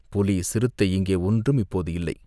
"புலி சிறுத்தை இங்கே ஒன்றும் இப்போது இல்லை.